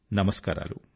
నమస్కారాలు